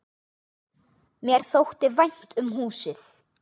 Mér þótti vænt um húsið.